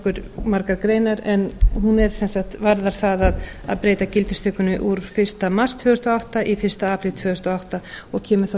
nokkuð margar greinar en hún varðar það að breyta gildistökunni úr fyrsta mars tvö þúsund og átta í fyrsta apríl tvö þúsund og átta og kemur þá